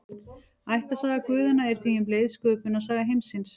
Ættarsaga guðanna er því um leið sköpunarsaga heimsins.